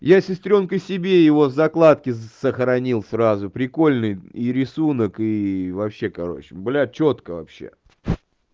я с сестрёнкой себе его в закладке сохранил сразу прикольный и рисунок и вообще короче блядь чётко вообще